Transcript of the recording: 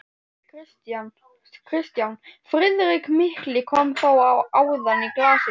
KRISTJÁN: Friðrik mikli kom þó áðan í glasið.